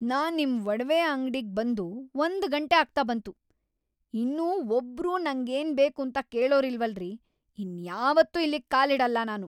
ನಾನ್ ನಿಮ್‌ ಒಡವೆ ಅಂಗ್ಡಿಗ್‌ ಬಂದು ಒಂದ್‌ ಗಂಟೆ ಆಗ್ತಾ ಬಂತು, ಇನ್ನೂ ಒಬ್ರೂ ನಂಗೇನ್‌ ಬೇಕೂಂತ ಕೇಳೋರಿಲ್ವಲ್ರೀ! ಇನ್ಯಾವತ್ತೂ ಇಲ್ಲಿಗ್‌ ಕಾಲಿಡಲ್ಲ ನಾನು.